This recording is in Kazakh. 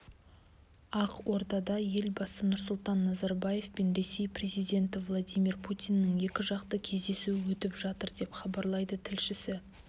ақордада елбасы нұрсұлтан назарбаев пен ресей президенті владимир путиннің екіжақты кездесуі өтіп жатыр деп хабарлайды тілшісі